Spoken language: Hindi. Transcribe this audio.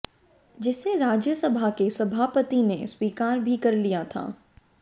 जिसे राज्यसभा के सभापति ने स्वीकार भी कर लिया था